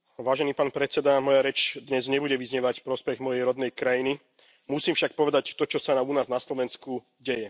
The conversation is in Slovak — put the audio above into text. Pán predsedajúci, moja reč dnes nebude vyznievať v prospech mojej rodnej krajiny. Musím však povedať to, čo sa u nás na Slovensku deje.